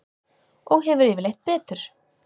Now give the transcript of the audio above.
Og hefur yfirleitt betur.